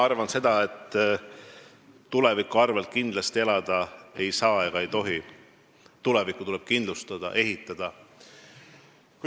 Ma arvan seda, et tuleviku arvel elada kindlasti ei saa ega tohi, tulevikku tuleb kindlustada ja ehitada.